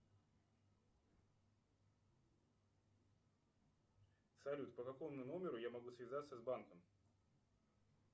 салют по какому номеру я могу связаться с банком